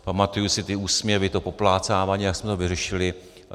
Pamatuji si ty úsměvy, to poplácávání, jak jsme to vyřešili.